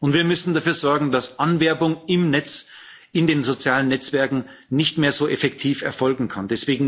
Und wir müssen dafür sorgen, dass Anwerbung im Netz, in den sozialen Netzwerken nicht mehr so effektiv erfolgen kann.